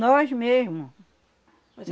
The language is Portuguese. Nós mesmos.